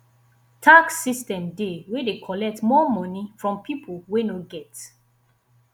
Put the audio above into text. tax system dey wey de collect more money from pipo wey no get